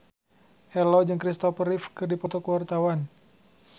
Ello jeung Christopher Reeve keur dipoto ku wartawan